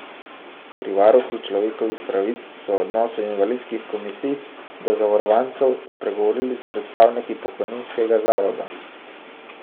Pri varuhu človekovih pravic so o odnosu invalidskih komisij do zavarovancev spregovorili s predstavniki pokojninskega zavoda.